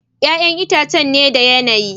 Ya'yan itãcen ne da yanayi.